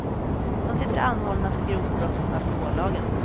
De sitter anhållna för grovt brott mot alkohollagen.